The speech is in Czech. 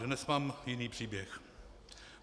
Dnes mám jiný příběh.